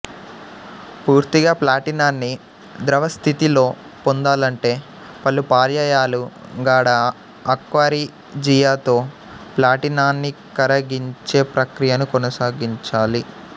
పూర్తిగా ప్లాటినాన్ని ద్రవస్థితిలో పొందాలంటే పలుపర్యాయాలు గాఢ అక్వారిజియాతో ప్లాటినాన్నికరగించే ప్రక్రియను కొనసాగించాలి